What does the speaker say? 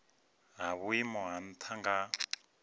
ha vhuimo ha nha nga